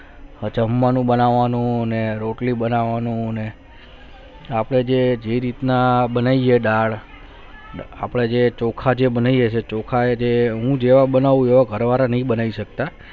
આછા હુમલાનું બનવાનું અને રોટલી બનવાનું અપને જે કંઈ રીતના બનાવી ગયે દાળ અપને જે ચોખા જે બનાયી ગયે છે સી ચોખા હું જેવો બનવું હમણાં ઘર વાળા નહિ બનાયી છે